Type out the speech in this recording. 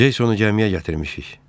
Ceysono cəmiyə gətirmişik.